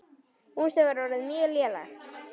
Húsið var orðið mjög lélegt.